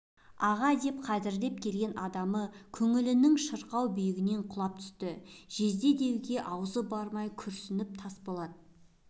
аға деп қадірлеп келген адамы көңілінің шырқау биігінен құлап түсті жезде деуге аузы бармай күрсініп тасболат